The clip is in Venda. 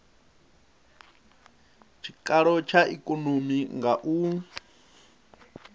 tshikalo tsha ikonomi nga u